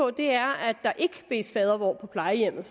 at der ikke bedes fadervor på plejehjemmet